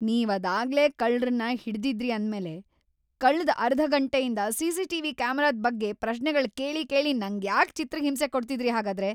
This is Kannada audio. ನೀವ್ ಅದಾಗ್ಲೇ ಕಳ್ರನ್ನ ಹಿಡ್ದಿದ್ರಿ ಅಂದ್ಮೇಲೆ ಕಳ್ದ್‌ ಅರ್ಧ ಘಂಟೆಯಿಂದ ಸಿ.ಸಿ.ಟಿ.ವಿ. ಕ್ಯಾಮೆರಾದ್ ಬಗ್ಗೆ ಪ್ರಶ್ನೆಗಳ್ನ ಕೇಳಿ ಕೇಳಿ ನಂಗ್ಯಾಕ್‌ ಚಿತ್ರಹಿಂಸೆ ಕೊಡ್ತಿದ್ರಿ ಹಾಗಾದ್ರೆ?!